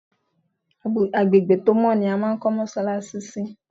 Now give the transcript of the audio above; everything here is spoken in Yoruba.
Agbègbè tó mọ́ ni a máa ń kọ́ mọ́ṣáláṣí sí.